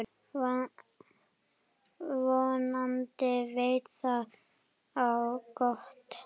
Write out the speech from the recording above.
Vonandi veit það á gott.